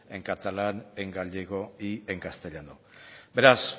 en catalán en gallego y en castellano beraz